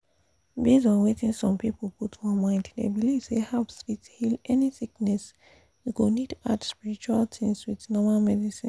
for some communities people dey feel say village medicine dey work sharp sharp e de affect whether person wey dey sick go gree or not.